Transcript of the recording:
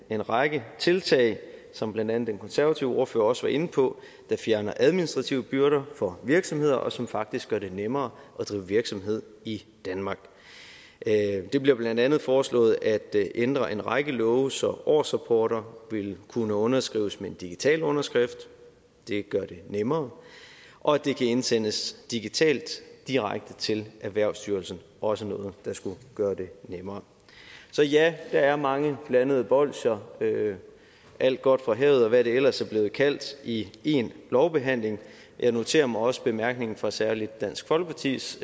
en række tiltag som blandt andet den konservative ordfører også var inde på der fjerner administrative byrder for virksomheder og som faktisk gør det nemmere at drive virksomhed i danmark det bliver blandt andet foreslået at ændre en række love så årsrapporter vil kunne underskrives med en digital underskrift det gør det nemmere og det kan indsendes digitalt direkte til erhvervsstyrelsen også noget der skulle gøre det nemmere så ja der er mange blandede bolsjer alt godt fra havet og hvad det ellers er blevet kaldt i én lovbehandling jeg noterer mig også bemærkningen fra særlig dansk folkepartis